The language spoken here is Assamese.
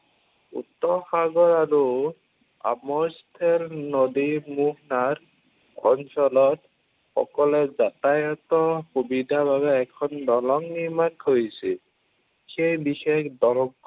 উত্তৰ সাগৰ আৰু আৱস্থান নদীৰ মোহনাত অঞ্চলত সকলো যাতায়তৰ সুবিধাৰ বাবে এখন দলং নিৰ্মাণ কৰিছিল। সেই বিশেষ দলং